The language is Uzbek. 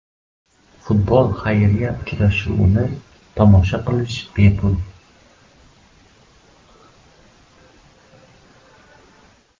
Futbol-xayriya uchrashuvini tomosha qilish bepul.